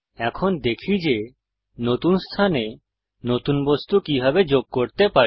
এখন দেখি যে নতুন স্থানে নতুন বস্তু কিভাবে যোগ করতে পারি